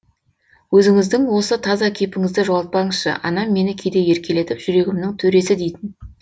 өзіңіздің осы таза кейпіңізді жоғалтпаңызшы анам мені кейде еркелетіп жүрегімнің төресі дейтін